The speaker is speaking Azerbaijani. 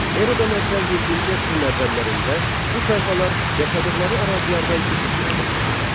Eradan əvvəl yeddinci əsrin əvvəllərində bu tayfalar yaşadıqları ərazilərdən köç etməyə başladılar.